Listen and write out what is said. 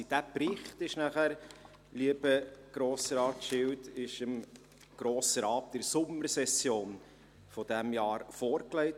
Dieser Bericht lieber Grossrat Schilt, wurde dann dem Grossen Rat in der Sommersession dieses Jahres vorgelegt.